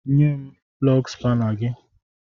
Nye m plọgu spana gị!